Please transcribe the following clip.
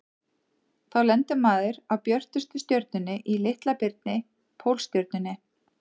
Þá lendir maður á björtustu stjörnunni í Litla-birni, Pólstjörnunni.